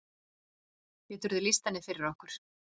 Geturðu lýst henni fyrir okkur?